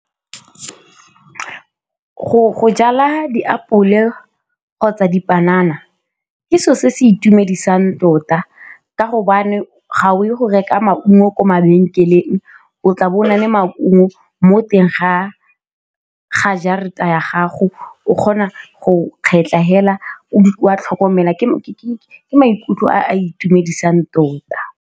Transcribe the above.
Go jala diapole kgotsa dipanana ke selo se se itumedisang tota ka gobane ga o ye go reka maungo ko mabenkeleng, o tlabo o na le maungo mo teng ga jarata ya gago, o kgona go kgetlha fela, o a tlhokomela ke maikutlo a a itumedisang tota.